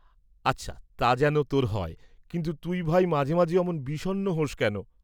নীরজা, "আচ্ছা তা যেন তোর হয়, কিন্তু তুই ভাই মাঝে মাঝে অমন বিষন্ন হোস্‌ কেন?"